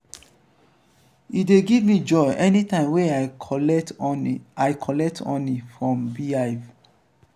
e dey give me joy anytime wey i collect honey i collect honey from bee hive.